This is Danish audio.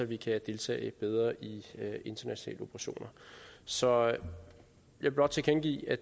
vi kan deltage bedre i internationale operationer så jeg vil blot tilkendegive at